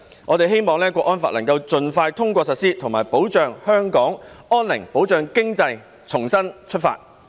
我們希望港區國安法能夠盡快通過實施，以及保障香港安寧，保障經濟重新出發。